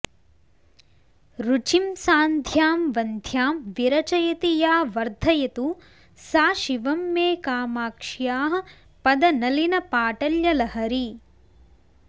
रुचिं सान्ध्यां वन्ध्यां विरचयति या वर्धयतु सा शिवं मे कामाक्ष्याः पदनलिनपाटल्यलहरी